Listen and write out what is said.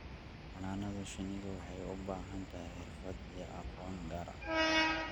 Xannaanada shinnidu waxay u baahan tahay xirfado iyo aqoon gaar ah.